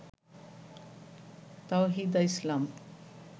Tawhida Islam